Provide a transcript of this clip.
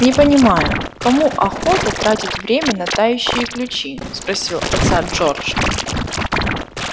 не понимаю кому охота тратить время на тающие ключи спросил отца джордж